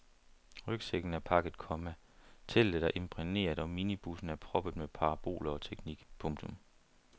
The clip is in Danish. Rygsækken er pakket, komma teltet er imprægneret og minibussen er proppet med paraboler og teknik. punktum